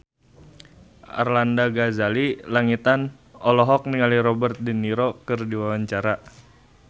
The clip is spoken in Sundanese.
Arlanda Ghazali Langitan olohok ningali Robert de Niro keur diwawancara